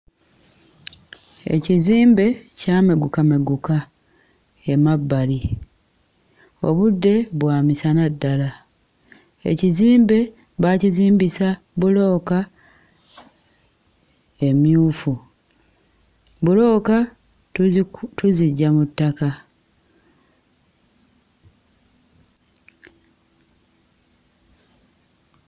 Ekizimbe kyamegukameguka emabbali. Obudde bwa misana ddala. Ekizimbe baakizimbisa bbulooka emmyufu. Bbulooka tuziku tuziggya mu ttaka.